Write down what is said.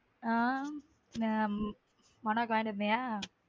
ஹம் மனோக்கு வாங்கிட்டு வந்தியா.